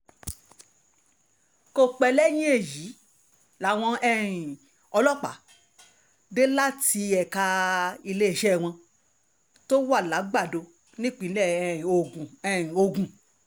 kò pẹ́ lẹ́yìn èyí làwọn um ọlọ́pàá dé láti ẹ̀ka iléeṣẹ́ wọn tó wà làgbàdo nípínlẹ̀ um ogun um ogun